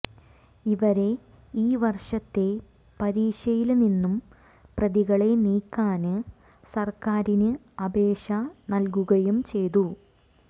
ഇവരെ ഈ വര്ഷത്തെ പരീക്ഷയില് നിന്നു പ്രതികളെ നീക്കാന് സര്ക്കാരിന് അപേക്ഷ നല്കുകയും ചെയ്തു